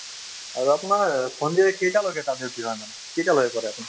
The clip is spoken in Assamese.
আৰু আপোনাৰ সন্ধিয়া কেইটা লৈকে তাত duty হয় মানে কেইটালৈকে কৰে আপুনি